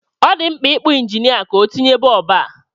Ọ dị mkpa ị kpọ injinịa ka o tinye bọb a.